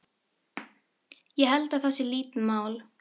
Ég held að það sé lítið mál.